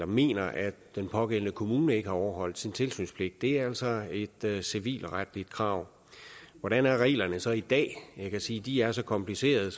mener at den pågældende kommune ikke har overholdt sin tilsynspligt det er altså et civilretligt krav hvordan er reglerne så i dag jeg kan sige at de er så komplicerede